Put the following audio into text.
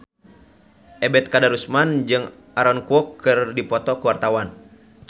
Ebet Kadarusman jeung Aaron Kwok keur dipoto ku wartawan